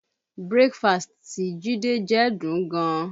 Breakfast tí Jide jẹ dùn ún gan